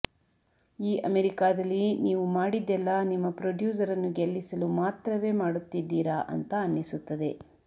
ಈ ಅಮೆರಿಕಾದಲ್ಲಿ ನೀವು ಮಾಡಿದ್ದೆಲ್ಲಾ ನಿಮ್ಮ ಪ್ರೊಡ್ಯೂಸರನ್ನು ಗೆಲ್ಲಿಸಲು ಮಾತ್ರವೇ ಮಾಡುತ್ತಿದ್ದೀರ ಅಂತ ಅನ್ನಿಸುತ್ತದೆ